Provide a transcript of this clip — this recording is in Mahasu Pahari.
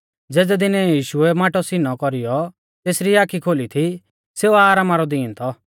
ज़ेज़ै दिनै यीशुऐ माटौ सीनौ कौरीयौ तेसरी आखी खोली थी सेऊ आरामा रौ दीन थौ